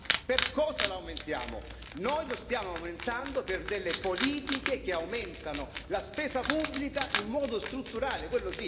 Noi lo stiamo aumentando per delle politiche che aumentano la spesa pubblica in modo strutturale, altro che riforme strutturali.